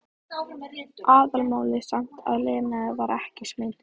Aðalmálið samt að Lena var ekki smituð.